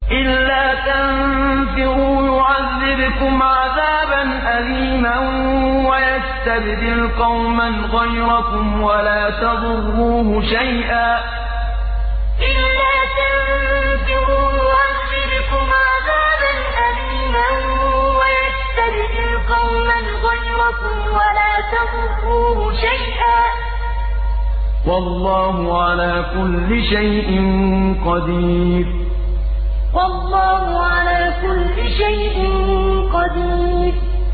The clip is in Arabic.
إِلَّا تَنفِرُوا يُعَذِّبْكُمْ عَذَابًا أَلِيمًا وَيَسْتَبْدِلْ قَوْمًا غَيْرَكُمْ وَلَا تَضُرُّوهُ شَيْئًا ۗ وَاللَّهُ عَلَىٰ كُلِّ شَيْءٍ قَدِيرٌ إِلَّا تَنفِرُوا يُعَذِّبْكُمْ عَذَابًا أَلِيمًا وَيَسْتَبْدِلْ قَوْمًا غَيْرَكُمْ وَلَا تَضُرُّوهُ شَيْئًا ۗ وَاللَّهُ عَلَىٰ كُلِّ شَيْءٍ قَدِيرٌ